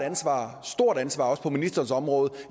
stort ansvar også på ministerens område